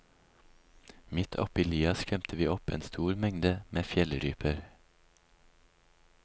Midt oppi lia skremte vi opp en stor mengde med fjellryper.